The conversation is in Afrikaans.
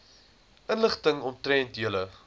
inligting omtrent julle